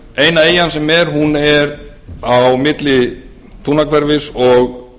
eina eyjan sem er er á milli tungnahverfis og